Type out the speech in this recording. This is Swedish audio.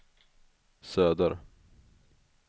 söder